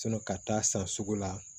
ka taa san sugu la